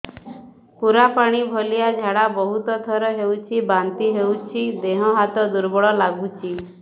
ପୁରା ପାଣି ଭଳିଆ ଝାଡା ବହୁତ ଥର ହଉଛି ବାନ୍ତି ହଉଚି ଦେହ ହାତ ଦୁର୍ବଳ ଲାଗୁଚି